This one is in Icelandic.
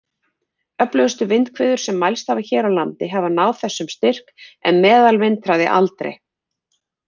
Öflugustu vindhviður sem mælst hafa hér á landi hafa náð þessum styrk, en meðalvindhraði aldrei.